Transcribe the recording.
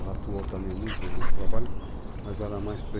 Ela atuou também muito nesse trabalho, mas era mais